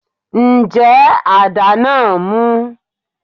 Ǹjẹ́ adá náà mú?